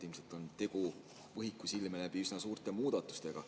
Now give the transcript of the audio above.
Ilmselt on tegu – võhiku silme läbi – üsna suurte muudatustega.